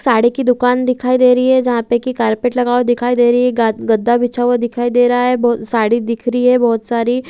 साड़ी की दुकान दिखाई दे रही है जहाँ पे की कारपेट लगा हुआ दिखाई दे रही है गद गद्दा बिछा हुआ दिखाई दे रहा है साड़ी दिख रही है बहुत सारी |